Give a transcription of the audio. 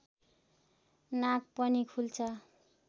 नाक पनि खुल्छ